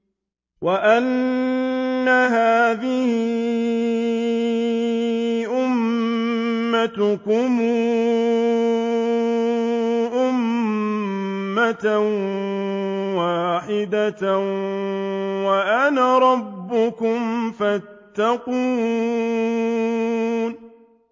وَإِنَّ هَٰذِهِ أُمَّتُكُمْ أُمَّةً وَاحِدَةً وَأَنَا رَبُّكُمْ فَاتَّقُونِ